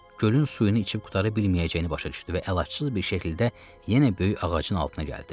Gölün suyunu içib qurtara bilməyəcəyini başa düşdü və əlacısız bir şəkildə yenə böyük ağacın altına gəldi.